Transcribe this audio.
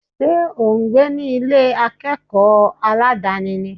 Ṣé ò ń gbé ní Ilé akẹ́kọ̀ọ́ aládàni ni?